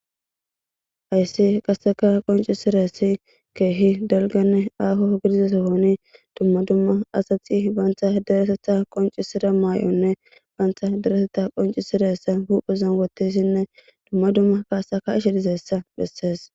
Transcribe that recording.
hayssi qasseka qoncisirassi keehi delganne aaho gidizesohoni dumma dumma asati baantha deretetha qoncisira maay7onne baantha dereteta qoncisiressa huphezan wotissinne dumma dumma kaasaka ishe dizeessa bhessees